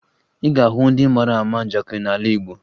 Ị ga-ahụ ndị mara ama njakịrị n'ala Igbo